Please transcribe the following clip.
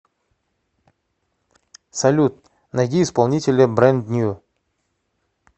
салют найди исполнителя брэнд нью